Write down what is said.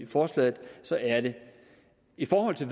forslaget i forhold til